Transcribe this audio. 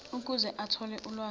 ukuze athole ulwazi